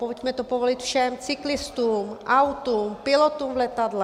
Pojďme to povolit všem - cyklistům, autům, pilotům v letadlech...